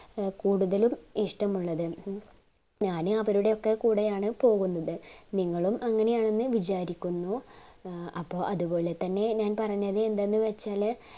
കൂടുതൽ ഒരു ഇഷ്ടമുള്ളത് ഞാൻ അവരുടൊയൊക്കെ കൂടെയാണ് പോകുന്നത് നിങ്ങളും അങ്ങനെയാണെന്ന് വിചാരിക്കുന്നു ഏർ അപ്പൊ അതുപോലെ തന്നെ പറഞ്ഞത് എന്തെന്നു വെച്ചാല്